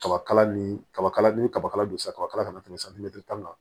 Kabakala ni kaba kala ni kaba don sa ka kala kana tɛmɛ santimɛtiri kan